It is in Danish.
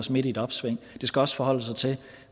os midt i et opsving det skal også forholde sig til